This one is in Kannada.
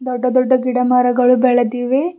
ದೊಡ್ಡ ದೊಡ್ಡ ಗಿಡ ಮರಗಳು ಬೆಳೆದಿವೆ.